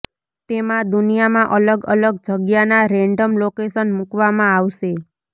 તેમાં દુનિયામાં અલગ અલગ જગ્યાના રેન્ડમ લોકેશન મુકવામાં આવશે